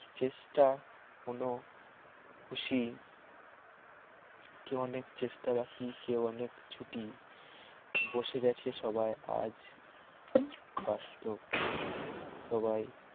চেষ্টা কোন খুশি কেউ অনেক চেষ্টা বাকি কেউ অনেক ছুটি বসে গেছে সবাই আজ বাসত সবাই